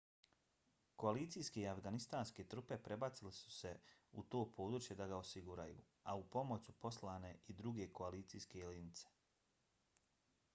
koalicijske i afganistanske trupe prebacile su se u to područje da ga osiguraju a u pomoć su poslane i druge koalicijske letjelice